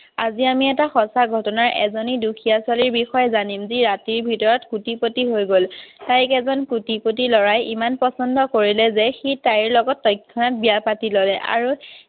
আজি আমি এটা সঁচা ঘটনা এজনী দুখীয়া ছোৱালীৰ বিষয়ে জানিম। যি ৰাতিৰ ভিতৰত কোটিপতি হৈ গ'ল। তাইক এজন কোটিপতি লৰাই ইমান পছন্দ কৰিলে যে সি তাইৰ লগত তৎক্ষণাৎ বিয়া পাতি ললে আৰু